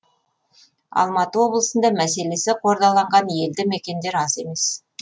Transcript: алматы облысында мәселесі қордаланған елді мекендер аз емес